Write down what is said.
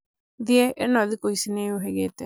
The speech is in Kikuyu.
thiĩ ĩno thĩkũ ici nĩyũhĩgĩte